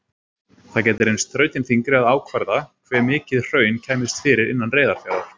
Það gæti reynst þrautin þyngri að ákvarða hve mikið hraun kæmist fyrir innan Reyðarfjarðar.